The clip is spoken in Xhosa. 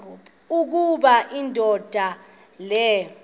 ukuba indoda le